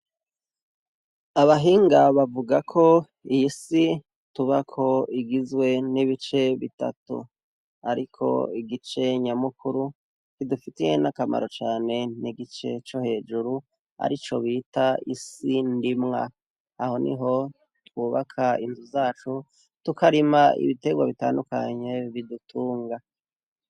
Abahinga bavuga ko iyi si tubako igizwe n' ibice bitatu. Ariko igice nyamukuru, kidufitiye n' akamaro cane, ni igice co hejuru, arico bita isi ndimwa. Aho niho, twubaka inzu zacu, tukarima ibiterwa bitandukanye bidutunga.